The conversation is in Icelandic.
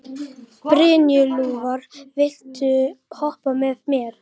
Brynjúlfur, viltu hoppa með mér?